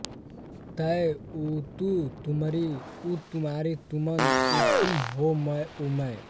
तैं उतू तुमरी उतुम्हारी तुमन उतुम हौं उमैं